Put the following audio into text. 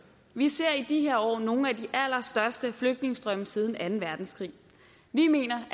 vi ser i de her år nogle af de allerstørste flygtningestrømme siden anden verdenskrig vi mener